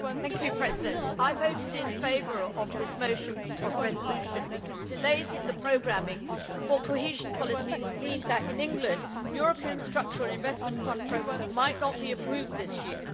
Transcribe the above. Mr President, I voted in favour of this motion for a resolution, because delays in the programming for cohesion policies mean that in England, European structural investment fund programmes might not be approved this year.